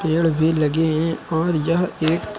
पेड़ भी लगे हैं और यह एक--